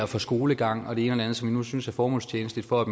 for skolegang og det ene og som vi synes er formålstjenligt for at